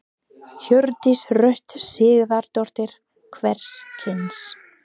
Hjördís Rut Sigurðardóttir: Hvers kyns?